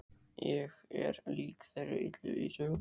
Ég er lík þeirri illu í sögunum.